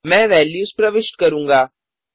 मैं वेल्यूज प्रविष्ट करूँगा